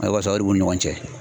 u ni ɲɔgɔn cɛ